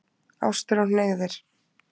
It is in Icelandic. Ástir og hneigðir